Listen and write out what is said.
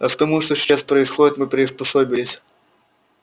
а к тому что сейчас происходит мы приспособились